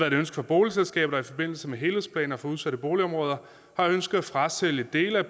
et ønske fra boligselskaber der i forbindelse med helhedsplanen for udsatte boligområder har ønsket at frasælge dele af